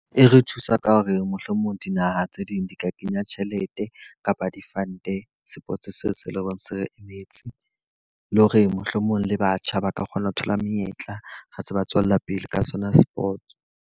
E re thusa ka ho re mohlomong dinaha tse ding di ka kenya tjhelete, kapa di-fund sports seo se leng hore se re emetse. Le hore mohlomong le batjha ba ka kgona ho thola menyetla, ha tse ba tswella pele ka sona sports.